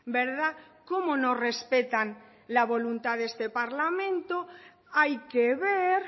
verdad como no respetan la voluntad de este parlamento hay que ver